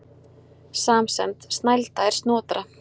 Samsemd: Snælda er Snotra